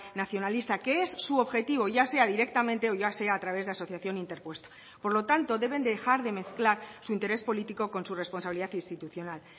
nacionalista que es su objetivo ya sea directamente o ya sea a través de asociación interpuesta por lo tanto deben dejar de mezclar su interés político con su responsabilidad institucional